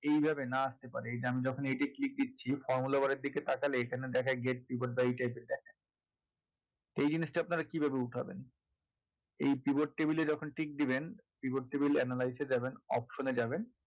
এইভাবে না আসতে পারে এই যে আমি যখন এইটায় click দিচ্ছি formula bar এর দিকে তাকালে এখানে দেখায় . এই জিনিসটা আপনারা কিভাবে উঠাবেন এই pivot table এ যখন tick দেবেন pivot table analyse এ যাবেন option এ যাবেন